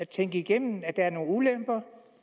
tænke igennem at der er nogle ulemper